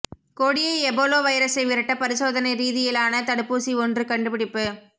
கொடிய எபோலா வைரஸை விரட்ட பரிசோதனை ரீதியிலான தடுப்பூசி ஒன்று கண்டுபிடிப்பு